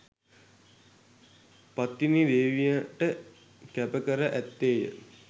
පත්තිනි දේවියට කැප කර ඇත්තේය